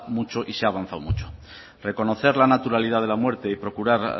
mucho y se ha avanzado mucho reconocer la naturalidad de la muerte y procurar